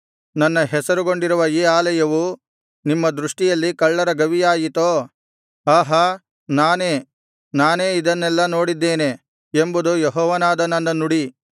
ನನ್ನ ಹೆಸರುಗೊಂಡಿರುವ ಈ ಆಲಯವು ನಿಮ್ಮ ದೃಷ್ಟಿಯಲ್ಲಿ ಕಳ್ಳರ ಗವಿಯಾಯಿತೋ ಆಹಾ ನಾನೇ ನಾನೇ ಇದನ್ನೆಲ್ಲಾ ನೋಡಿದ್ದೇನೆ ಎಂಬುದು ಯೆಹೋವನಾದ ನನ್ನ ನುಡಿ